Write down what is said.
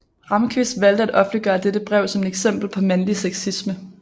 Ramqvist valgte at offentliggøre dette brev som et eksempel på mandlig sexisme